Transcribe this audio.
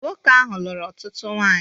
Nwoke ahụ lụrụ ọtụtụ nwanyị